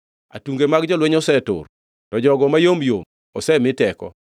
“Atunge mag jolweny osetur, to jogo mayom yom osemi teko.